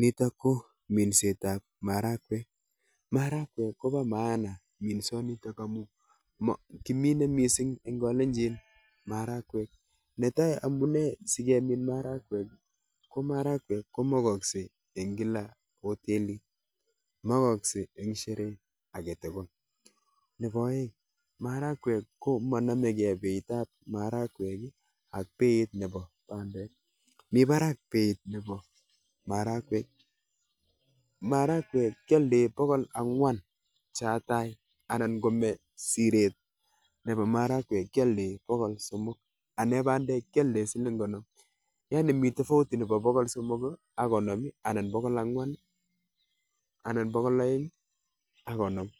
nitok ko minset ab marakwek, marakwek kobo (maana) amuun marakwek ko mokotin en kila hoteli ak (sheree),kora marakwek keoldoi